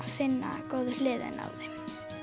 finna góðu hliðarnar á þeim